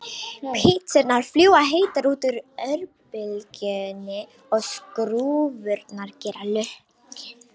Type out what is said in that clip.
Pizzurnar fljúga heitar út úr örbylgjunni og skrúfurnar gera lukku.